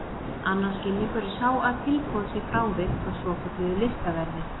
Annar skilningur er sá að tilboð sé frávik frá svokölluðu listaverði.